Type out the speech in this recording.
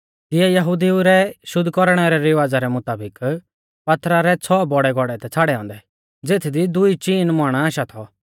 तियै यहुदिऊ रै शुद्ध कौरणै रै रिवाज़ा रै मुताबिक पात्थरा रै छ़ौ बौड़ै घौड़ै थै छ़ाड़ै औन्दै ज़ेथदी दुई चीन मण आशा थौ